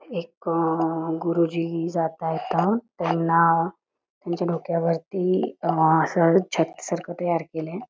एक गुरुजी जात आहेत त्यांना त्यांच्या डोक्यावरती असं छत सारखं तयार केलय.